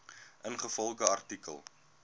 ingevolge artikel